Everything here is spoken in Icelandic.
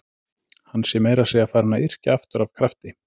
Hann sé meira að segja farinn að yrkja aftur af krafti.